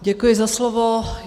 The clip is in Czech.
Děkuji za slovo.